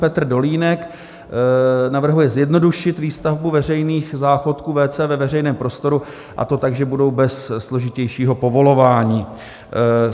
Petr Dolínek navrhuje zjednodušit výstavbu veřejných záchodků WC ve veřejném prostoru, a to tak, že budou bez složitějšího povolování.